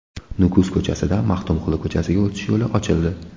Nukus ko‘chasidan Maxtumquli ko‘chasiga o‘tish yo‘li ochildi.